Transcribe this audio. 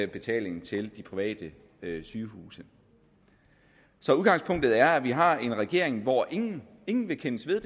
betalingen til de private sygehuse så udgangspunktet er at vi har en regering hvor ingen ingen vil kendes ved